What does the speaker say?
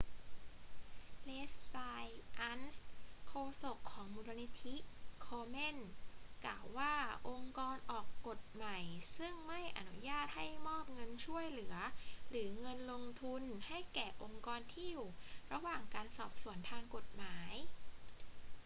leslie aun โฆษกของมูลนิธิ komen กล่าวว่าองค์กรออกกฎใหม่ซึ่งใม่อนุญาตให้มอบเงินช่วยเหลือหรือเงินทุนให้แก่องค์กรที่อยู่ระหว่างการสอบสวนทางกฎหมาย